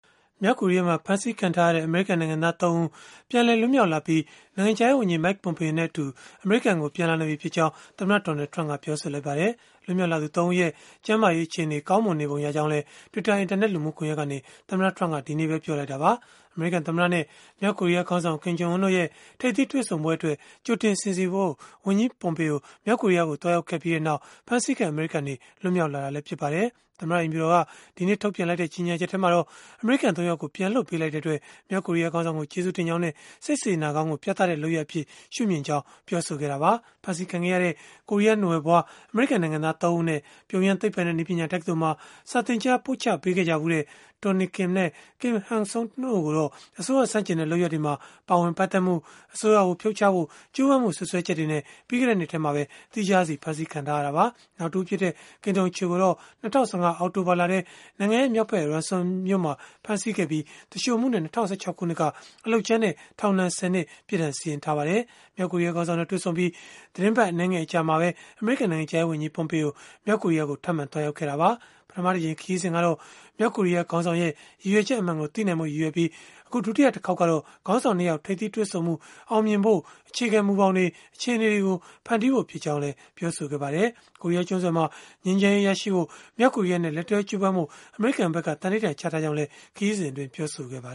မြောက်ကိုရီးယားမှာ ဖမ်းဆီးခံထားရတဲ့ အမေရိကန်နိုင်ငံသား ၃ ဦး ပြန်လည်လွတ်မြောက်လာပြီး၊ နိုင်ငံခြားရေးဝန်ကြီး Mike Pompeo နဲ့အတူ အမေရိကန်ကို ပြန်လာနေပြီဖြစ်ကြောင်း အမေရိကန်သမ္မတ Donald Trump ကပြောဆိုလိုက်ပါတယ်။ လွတ်မြောက်လာသူ ၃ ဦးရဲ့ ကျန်းမာရေးအခြေအနေ ကောင်းမွန်နေပုံ ရကြောင်းလည်း Twitter အင်တာနက် လူမှုကွန်ယက်ကနေ သမ္မတ Trump က ဒီနေ့ပဲ ပြောဆိုလိုက်တာပါ။ အမေရိကန်သမ္မတနဲ့ မြောက်ကိုရီးယားခေါင်းဆောင် Kim Jong Un တို့ရဲ့ ထိပ်သီးတွေ့ဆုံပွဲအတွက် ကြိုတင်စီစဉ်ဖို့ ဝန်ကြီး Pompeo မြောက်ကိုရီးယားကို သွားရောက်ခဲ့ပြီးနောက် ဖမ်းဆီးခံ အမေရိကန်တွေ လွတ်မြောက်လာတာလည်း ဖြစ်ပါတယ်။ သမ္မတအိမ်ဖြူတော်က ဒီနေ့ထုတ်ပြန်လိုက်တဲ့ ကြေညာချက်မှာတော့ အမေရိကန် ၃ ယောက်ကို ပြန်လွှတ်ပေးတဲ့အတွက် မြောက်ကိုရီးယား ခေါင်းဆောင်ကို ကျေးဇူးတင်ကြောင်းနဲ့ စိတ်ကောင်းစေတနာကို ပြသတဲ့လုပ်ရပ်အဖြစ် ရှုမြင်ကြောင်းလည်း ပြောဆိုခဲ့တာပါ။ ဖမ်းဆီးခံခဲ့ရတဲ့ ကိုရီးယားနွယ်ဖွား အမေရိကန်နိုင်ငံသား ၃ ဦးအနက်၊ ပြုံယမ်း သိပ္ပံနဲ့နည်းပညာ တက္ကသိုလ်မှာ စာသင်ကြားပို့ချခဲ့ကြဖူးတဲ့ Tony Kim နဲ့ Kim Hak Song တို့ကိုတော့ အစိုးရဆန့်ကျင်တဲ့ လုပ်ရပ်တွေမှာ ပါဝင်ပတ်သက်မှု၊ အစိုးရကို ဖြုတ်ချဖို့ ကြိုးပမ်းမှု စွပ်စွဲချက်တွေနဲ့ ပြီးခဲ့တဲ့နှစ်မှာပဲ သီးခြားစီ ဖမ်းဆီးခံထားရတာပါ။ နောက်တဦးဖြစ်တဲ့ Kim Dong Chul ကိုတော့ ၂၀၁၅ အောက်တိုဘာလထဲ နိုင်ငံမြောက်ဖက် Rason မြို့မှာ ဖမ်းဆီးခဲ့ပြီး၊ သူလျှိုမှုနဲ့ ၂၀၁၆ ခုနှစ်က အလုပ်ကြမ်းနဲ့ ထောင်ဒဏ် ၁၀ နှစ် ပြစ်ဒဏ်စီရင်ထားပါတယ်။ မြောက်ကိုရီးယားခေါင်းဆောင်နဲ့ တွေ့ဆုံပြီး သီတင်းပတ် အနည်းငယ် အကြာမှာပဲ အမေရိကန် နိုင်ငံခြားရေးဝန်ကြီး Pompeo မြောက်ကိုရီးယားကို ထပ်မံသွားရောက်ခဲ့တာပါ။ ပထမတကြိမ် ခရီးစဉ်ကတော့ မြောက်ကိုရီးယား ခေါင်းဆောင်ရဲ့ ရည်ရွယ်ချက်အမှန်ကို သိနိုင်ဖို့ ရည်ရွယ်ပြီး၊ အခုဒုတိယတခေါက်ကတော့ ခေါင်းဆောင် ၂ ယောက် ထိပ်သီးတွေ့ဆုံမှု အောင်မြင်ဖို့ အခြေခံမူဘောင်တွေ၊ အခြေအနေတွေ ဖန်တီးဖို့ ဖြစ်ကြောင်းလည်း ပြောပါတယ်။ ကိုရီးယားကျွန်းဆွယ်မှာ ငြိမ်းချမ်းရေး ရရှိဖို့ မြောက်ကိုရီးယားနဲ့ လက်တွဲကြိုးပမ်းဖို့ အမေရိကန်က သန္နိဓာန်ချထားကြောင်းလည်း ခရီးစဉ်မှာ ပြောဆိုခဲ့တာပါ